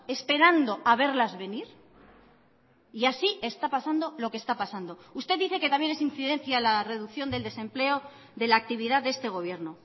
esperando a verlas venir y así está pasando lo que está pasando usted dice que también es incidencia la reducción del desempleo de la actividad de este gobierno